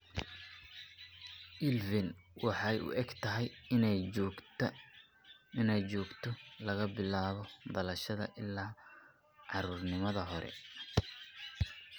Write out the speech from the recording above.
ILVEN waxay u egtahay inay joogto laga bilaabo dhalashada ilaa caruurnimada hore.